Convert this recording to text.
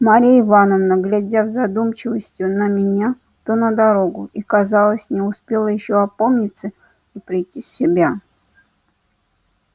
марья ивановна глядев с задумчивостью то на меня то на дорогу и казалось не успела ещё опомниться и прийти в себя